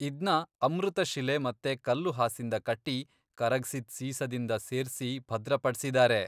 ಇದ್ನ ಅಮೃತಶಿಲೆ ಮತ್ತೆ ಕಲ್ಲು ಹಾಸಿಂದ ಕಟ್ಟಿ, ಕರಗ್ಸಿದ್ ಸೀಸದಿಂದ ಸೇರ್ಸಿ ಭದ್ರಪಡ್ಸಿದಾರೆ.